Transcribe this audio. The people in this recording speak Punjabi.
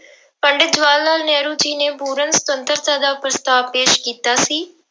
ਪੰਡਿਤ ਜਵਾਹਰ ਲਾਲ ਨਹਿਰੂ ਜੀ ਨੇ ਪੂਰਨ ਸੁਤੰਤਰਤਾ ਦਾ ਪ੍ਰਸਤਾਵ ਪੇਸ ਕੀਤਾ ਸੀ।